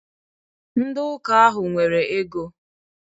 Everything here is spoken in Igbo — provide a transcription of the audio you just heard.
Ndị ụka ahụ nwere ego.